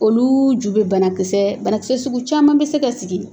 Olu ju bɛ banakisɛ banakisɛ sugu caman bi se ka sigi